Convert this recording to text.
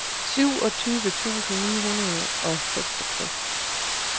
syvogtyve tusind ni hundrede og seksogtres